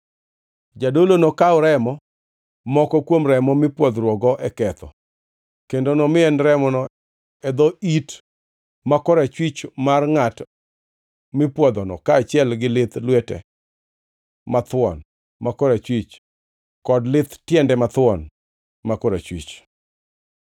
Jadolo nokaw remo moko kuom remo mipwodhruokgo e ketho, kendo nomien remono e dho it ma korachwich mar ngʼat mipwodhono kaachiel gi lith lwete mathuon ma korachwich, kod lith tiende mathuon ma korachwich.